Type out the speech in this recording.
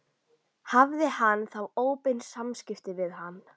Hafði hann þá óbein samskipti við hann?